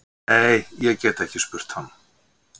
"""Nei, ég gæti ekki spurt hann."""